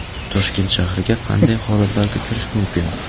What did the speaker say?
Toshkent shahriga qanday holatlarda kirish mumkin?.